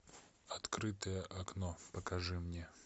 открытое окно покажи мне